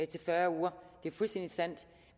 til fyrre uger det er fuldstændig sandt